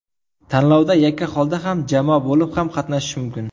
Tanlovda yakka holda ham, jamoa bo‘lib ham qatnashish mumkin.